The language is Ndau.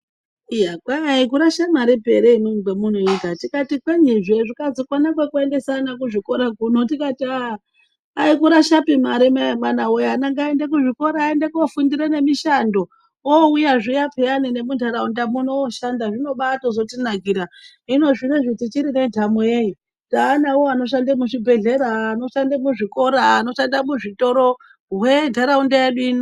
Iya kwai akurashepi mare ere kwamunoita tikati kwenyizve, zvikazi kona kwekuendesa vana kuzvikora kuno tikati aah akurashapi mare mai emwanawe ana ngaende kuzvikora aende nekofundira nemishando oouyazviya peyani nemuntaraunda muno ooshanda zvinobaatozotinakura. Hino zvinoizvi tichine nenhamo yeyi taanawo anoshande muzvibhedhlera ,anoshande muzvikora, anoshande muzvitoro hwe ntaraunda yedu ino.